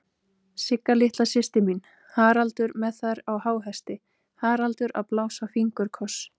Sigga litla systir mín, Haraldur með þær á háhesti, Haraldur að blása fingurkoss.